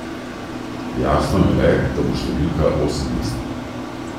Jasno je le, da bo številka osemmestna.